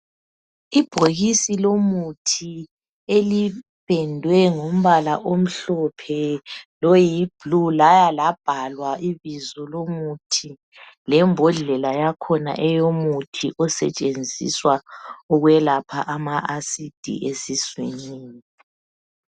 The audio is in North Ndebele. Ibhokisi lomuthi elipendwe ngombala omhlophe loyiblue laya labhalwa ibizo lomuthi lembodlela yakhona eyomuthi osetshenziswa ukwelapha ama acids esiswini.